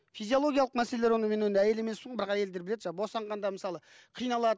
физиологиялық мәселелер оны мен әйел емеспін ғой бірақ әйелдер біледі жаңа босанғанда мысалы қиналады